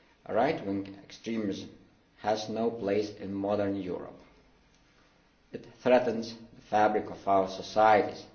Right wing extremism has no place in modern Europe. It threatens the fabric of our societies.